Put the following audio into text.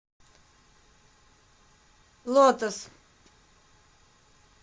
лотос